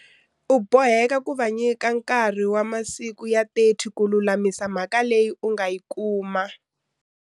U boheka ku va nyika nkarhi wa masiku ya 30 ku lulamisa mhaka leyi u nga yi kuma.